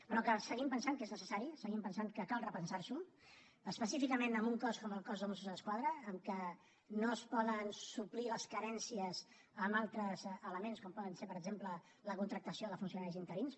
però seguim pensant que és necessari seguim pensant que cal repensar s’ho específicament en un cos com el cos de mossos d’esquadra en què no es poden suplir les carències amb altres elements com pot ser per exemple la contractació de funcionaris interins